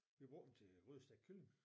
Vi har brugt den til grydestegt kylling